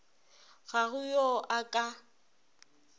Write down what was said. ga go yo a ka